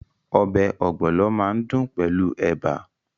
Ọbẹ̀ ogbono máa dùn pẹ̀lú ẹ̀bà.